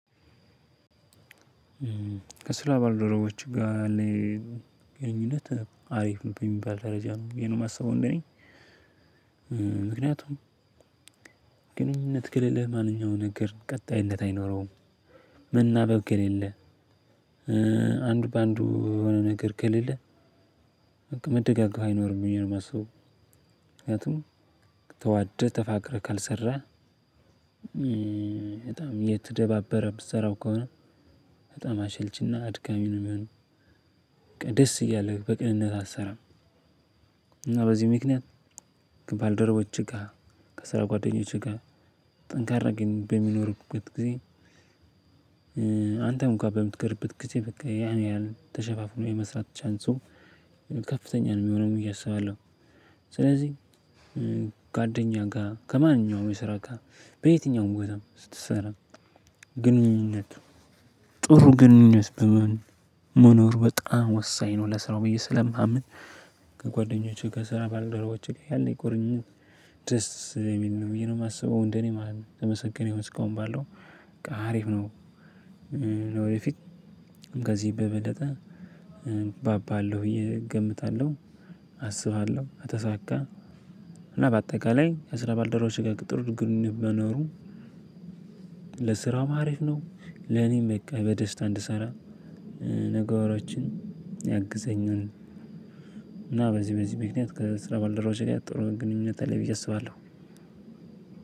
ከስራ ባልደረቦች ጋር ያለኝ ግንኙነት አሪፍ ነው በሚባል ደረጃ ነው ብዬ ነው ማስበው። እንደኔ ምክንያቱም ግንኙነት ከሌለህ ማንኛውም ነገር ቀጣይነት አይኖረውም። መናበብ ከሌለ አንዱ በአንዱ የሆነ ነገር ከሌለ በቃ መደጋገፍ አይኖርም ብዬ ነው ማስበው። ምክንያቱም ተዋደህ ተፋቅረህ ካልሰራህ በጣም እየተደባበረ ምትሰራው ከሆነ በጣም አሸልችና አድካሚ ነው የሚሆነው። ደስ እያለህ በቅንነት አትሰራም። እና በዚህ ምክንያት ከባልደረቦች ጋር ከስራ ጓደኞች ጋር ጠንካራ ግንኙ በሚኖርበት ጊዜ አንተ እንኳን በምትቀርበት ጊዜ በቃ ያን ያህል ተሸፋፍኖ የመስራት ቻንሱ ከፍተኛ ነው ሚሆነው ብዬ አስባለሁ። ስለዚህ ጓደኛ ጋር ከማንኛውም የስራ ጋር በየትኛውም ቦታ ስትሰራ ግንኙነት ጥሩ ግንኙነት በመኖር በጣም ወሳኝ ነው ለስራው ብዬ ስለማምን። ከጓደኞቼ ከስራ ባለደረቦቼጋ ያለኝ ቁርኝነት ደስ ስለሚል ነው ብዬ ነው ማስበው እንደኔ ማለት ነው የተመሰገነ ይሆን እስካሁን ባለው በቃ አሪፍ ነው። ወደፊት ከዚህ በበለጠ ባባለሁ ብዬ እገምታለሁ። አስባለሁ ከተሳካ እና ባጠቃላይ ከስራ ባልደረቦቼ ጋር ጥሩ ግንኙነት መኖሩ ለስራውም አሪፍ ነው ለኔም በቃ በደስታ እንድሰራ ነገሮችን ያግዘኛል። እና በዚህ በዚህ ምክንያት ከስራ ባልደረቦቼ ጋር ጥሩ ግንኙነት አለኝ ብዬ አስባለሁ።